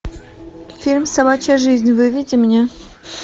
фильм собачья жизнь выведи мне